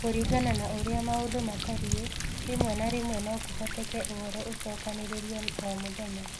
Kũringana na ũrĩa maũndũ matariĩ, rĩmwe na rĩmwe no kũhoteke ũhoro ũcookanĩrĩrio o mũthenya.